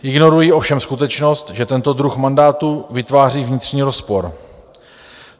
Ignorují ovšem skutečnost, že tento druh mandátu vytváří vnitřní rozpor.